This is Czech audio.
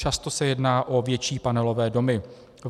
Často se jedná o větší panelové domy.